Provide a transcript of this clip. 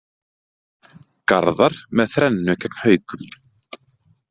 Garðar með þrennu gegn Haukum